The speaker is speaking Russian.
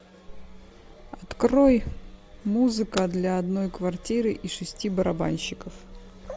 открой музыка для одной квартиры и шести барабанщиков